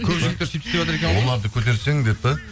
көп жігіттер сөйтіп істеватыр екен ғой оларды көтерсең деп пе